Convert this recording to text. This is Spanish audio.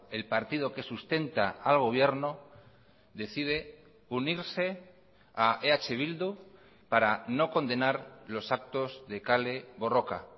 el partido que sustenta al gobierno decide unirse a eh bildu para no condenar los actos de kale borroka